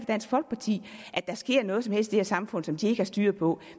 dansk folkeparti at der sker noget som helst i det her samfund som de ikke har styr på